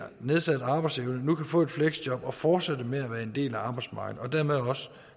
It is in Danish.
nedsat arbejdsevne nu kan få et fleksjob og fortsætte med at være en del af arbejdsmarkedet og dermed også